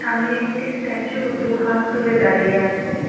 সামনে একটি স্ট্যাচু দুহাত তুলে দাঁড়িয়ে আছে।